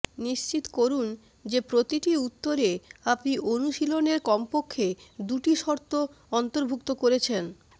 নিশ্চিত করুন যে প্রতিটি উত্তরে আপনি অনুশীলনের কমপক্ষে দুটি শর্ত অন্তর্ভুক্ত করেছেন